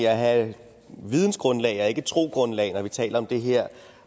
at have vidensgrundlag og ikke trosgrundlag når vi taler om det her